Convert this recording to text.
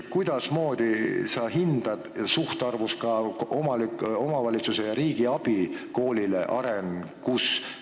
Kuidas sa hindad suhtarvu kasutades omavalitsuse ja riigi abi koolile tema arengus?